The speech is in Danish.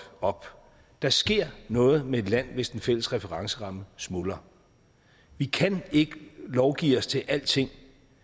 op der sker noget med et land hvis den fælles referenceramme smuldrer vi kan ikke lovgive os til alting